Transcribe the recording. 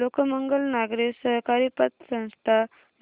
लोकमंगल नागरी सहकारी पतसंस्था